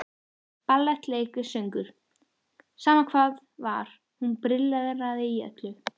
Ballett, leiklist, söngur, sama hvað var, hún brilleraði í öllu.